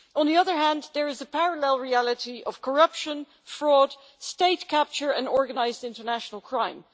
On the other hand, there is a parallel reality of corruption, fraud, state capture and organised international crime.